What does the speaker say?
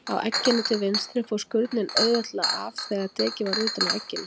Á egginu til vinstri fór skurnin auðveldlega af þegar tekið var utan af egginu.